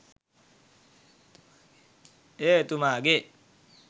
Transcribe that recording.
එය එතුමාගේ